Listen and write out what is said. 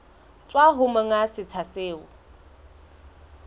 tswa ho monga setsha seo